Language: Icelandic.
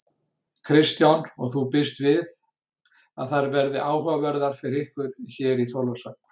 Kristján: Og þú býst við að þær verði áhugaverðar fyrir ykkur hér í Þorlákshöfn?